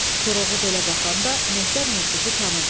Koroğlu belə baxanda Mehter Murtuzu tanıdı.